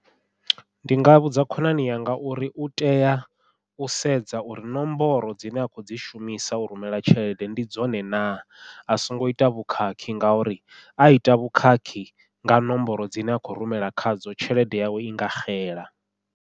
Ndi nga vhudza khonani yanga uri u tea u sedza uri ṋomboro dzine a khou dzi shumisa u rumela tshelede ndi dzone na, a songo ita vhukhakhi ngauri a ita vhukhakhi nga ṋomboro dzine a khou rumela khadzo tshelede yawe i nga xela.